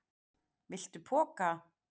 Viltu poka?